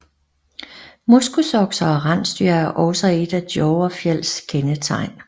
Moskusokser og rensdyr er også et af Dovrefjells kendetegn